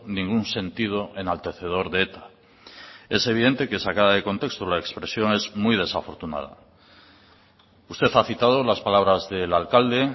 ningún sentido enaltecedor de eta es evidente que sacada de contexto la expresión es muy desafortunada usted ha citado las palabras del alcalde